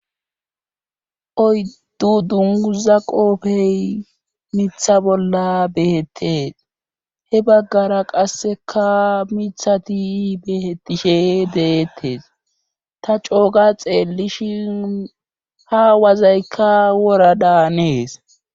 Oyddu dunguza qoofey miiththa bolla behettes he baggara qasseka miiththati betishshe deettees ta cooga xeellishin ha wazaykka wora daanees